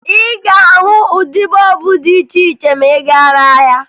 Ị ga-ahụ ụdị bọọbụ dị iche iche ma ị gaa n'ahịa